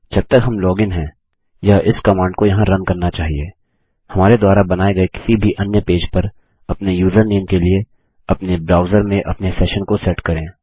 जब तक हम लॉगिन हैं यह इस कमांड को यहाँ रन करना चाहिए हमारे द्वारा बनाये गए किसी भी अन्य पेज पर अपने यूजरनेम के लिए अपने ब्राउजर में अपने सेशन को सेट करके